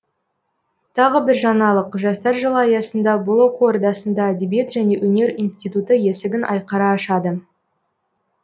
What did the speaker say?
тағы бір жаңалық жастар жылы аясында бұл оқу ордасында әдебиет және өнер институты есігін айқара ашады